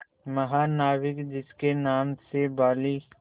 महानाविक जिसके नाम से बाली